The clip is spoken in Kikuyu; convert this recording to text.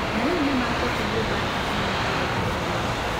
Na rĩu nĩ maakĩte nyũmba nene mũno taũni-inĩ ĩyo.